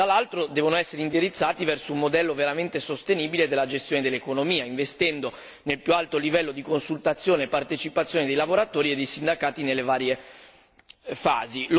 Dall'altro lato, tali strumenti devono essere indirizzati verso un modello veramente sostenibile della gestione dell'economia, investendo nel più alto livello di consultazione e partecipazione dei lavoratori e dei sindacati nelle varie fasi.